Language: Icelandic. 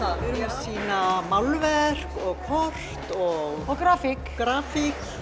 sýna málverk og kort og grafík grafík